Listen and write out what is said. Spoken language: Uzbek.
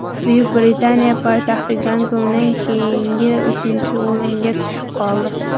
Buyuk Britaniya poytaxti Gonkongdan keyingi uchinchi o‘ringa tushib qoldi.